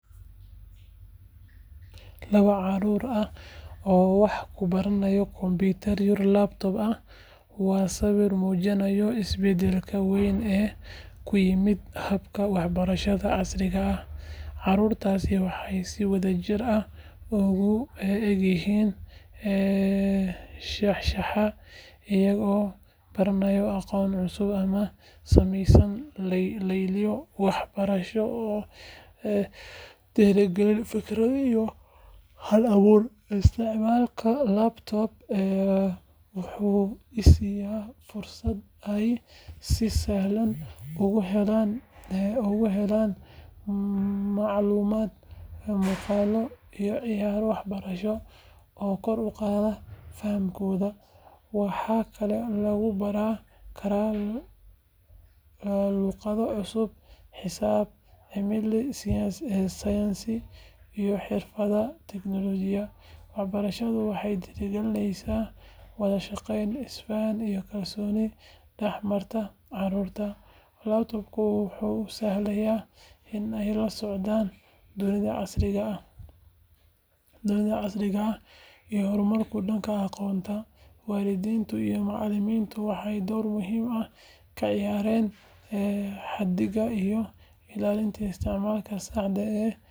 Laba caruur ah oo wax ku baranaya kombiyuutar laptop ah waa sawir muujinaya isbeddelka weyn ee ku yimid habka waxbarashada casriga ah. Caruurtaasi waxay si wadajir ah u eegayaan shaashadda, iyagoo baranaya aqoon cusub ama sameynaya layliyo waxbarasho oo dhiirigeliya fikirka iyo hal abuurka. Isticmaalka laptop wuxuu siinayaa fursad ay si sahlan ugu helaan macluumaad, muuqaallo iyo ciyaaro waxbarasho oo kor u qaada fahamkooda. Waxaa kaloo lagu baran karaa luqado cusub, xisaab, cilmiga sayniska iyo xirfadaha tiknoolajiyadda. Waxbarashadan waxay dhiirrigelinaysaa wada shaqeyn, isfaham iyo kalsooni dhex marta caruurta. Laptopku wuxuu u sahlayaa in ay la socdaan dunida casriga ah iyo horumarka dhanka aqoonta. Waalidiinta iyo macallimiintuna waxay door muhiim ah ka ciyaaraan hagida iyo ilaalinta isticmaalka saxda ah ee qalabkaas.